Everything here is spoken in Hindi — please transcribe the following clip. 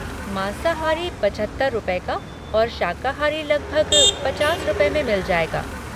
माँसाहारी पचहत्तर रुपए का और शाकाहारी लगभग पचार रुपए में मिल जाएगा।